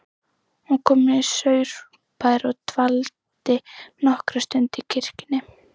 Hún kom í Saurbæ og dvaldi nokkra stund í kirkjunni.